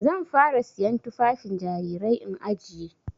Zan fara siyan tufafin jarirai in ajiye.